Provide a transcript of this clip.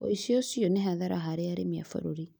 ũici ũcio nĩ hathara harĩ arĩmi a bũrũri